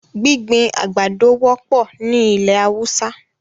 Gbigbin agbádọ̀ wọpọ̀ ni ilẹ̀ Hausa.